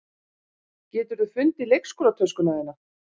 Geturðu fundið leikskólatöskuna þína?